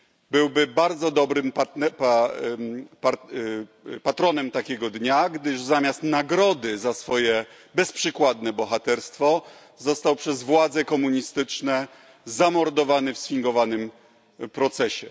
Byłby bardzo dobrym patronem takiego dnia, gdyż zamiast nagrody za swoje bezprzykładne bohaterstwo został przez władze komunistyczne zamordowany w sfingowanym procesie.